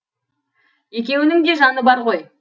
екеуінің де жаны бар ғой